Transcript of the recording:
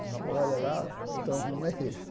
Você olha lá, então o rumo é esse.